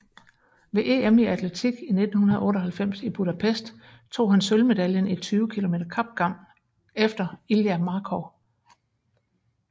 Ved EM i atletik i 1998 i Budapest tog han sølvmedaljen i 20 km kapgang efter Ilja Markov